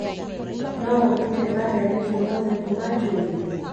no ũndute mandarĩki ũmũthĩ kuma Jumia